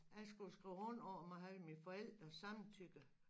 Jeg skulle jo skrive under om at have mine forældres samtykke